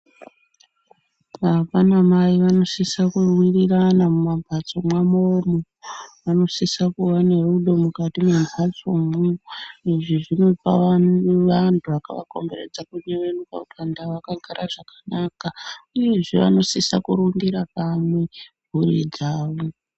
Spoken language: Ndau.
Baba na mai vanosisa kuwirirana mu mambatso mwawo mwo vanosisa kuva ne rudo mukati mwe mhatso mwo izvi zvinopa vantu vakava komberedza kuyevenyuka kuti vantu ava vakagara zvakanaka uye vanosaisa kurumbira kamwe homwe dzavo.